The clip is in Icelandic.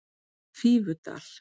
Fífudal